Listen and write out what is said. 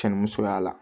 Cɛ ni musoya la